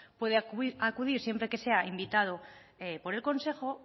puede acudir siempre que sea invitado por el consejo